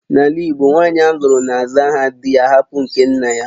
N'ala igbo, nwanyị alụrụ na-aza aha dị hapụ nke nna ya